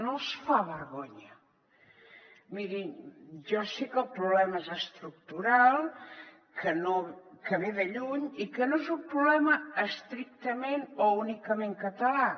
no els fa vergonya mirin jo sé que el problema és estructural que ve de lluny i que no és un problema estrictament o únicament català